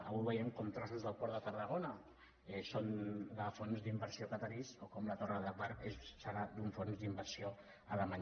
avui veiem com trossos del port de tarragona són d’un fons d’inversió qatarià com la torre d’agbar serà d’un fons d’inversió alemany